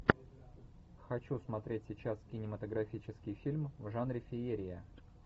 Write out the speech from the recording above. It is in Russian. хочу смотреть сейчас кинематографический фильм в жанре феерия